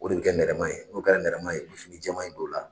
O de bɛ kɛ nɛrɛma ye n'o kɛra nɛrɛma ye i bɛ fini jɛma in don o la.